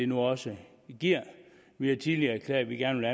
nu også giver vi har tidligere erklæret at vi gerne